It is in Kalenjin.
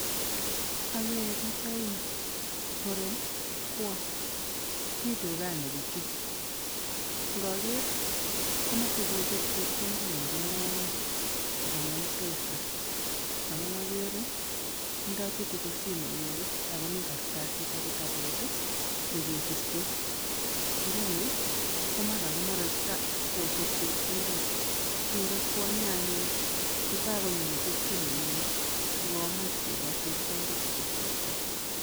Akere piich aeng muren ak kwony, mi dukani pichu. Ngoker komoche kocher chepkondok murenoni kobun M-pesa amun akere tindoi chitugul simoinyi ako mi kartasit ak kitabut ii ne kesirchin, nguni komara kocher chepkondok, kere kwonyo anyun ngo kakonyo message simoinyi si komuch kokoch chepkondokchik chichi.